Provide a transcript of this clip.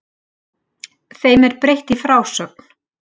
Þeim er breytt í frásögn.